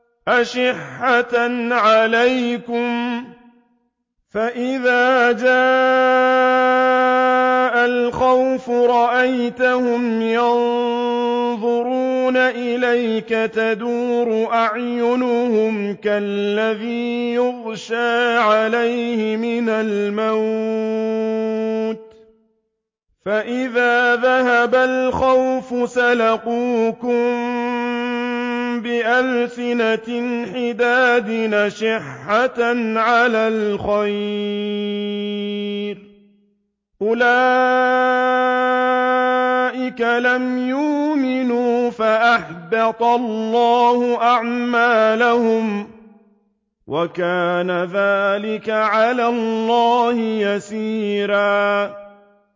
أَشِحَّةً عَلَيْكُمْ ۖ فَإِذَا جَاءَ الْخَوْفُ رَأَيْتَهُمْ يَنظُرُونَ إِلَيْكَ تَدُورُ أَعْيُنُهُمْ كَالَّذِي يُغْشَىٰ عَلَيْهِ مِنَ الْمَوْتِ ۖ فَإِذَا ذَهَبَ الْخَوْفُ سَلَقُوكُم بِأَلْسِنَةٍ حِدَادٍ أَشِحَّةً عَلَى الْخَيْرِ ۚ أُولَٰئِكَ لَمْ يُؤْمِنُوا فَأَحْبَطَ اللَّهُ أَعْمَالَهُمْ ۚ وَكَانَ ذَٰلِكَ عَلَى اللَّهِ يَسِيرًا